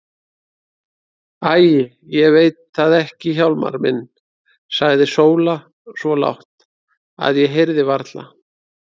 Æi, ég veit það ekki Hjálmar minn, sagði Sóla svo lágt, að ég heyrði varla.